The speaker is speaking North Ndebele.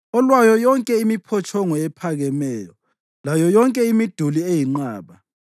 olwayo yonke imiphotshongo ephakemeyo layo yonke imiduli eyinqaba,